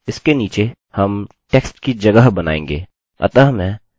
इसके नीचे हम टेक्स्ट की जगह बनाएँगे